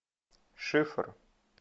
шифр